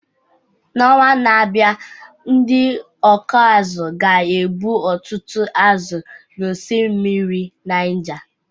N’ọnwa na-abịa, ndị ọkụ azụ̀ ga-egbu ọtụtụ azụ̀ n’osimiri Niger